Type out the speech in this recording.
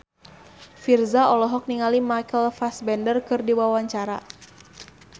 Virzha olohok ningali Michael Fassbender keur diwawancara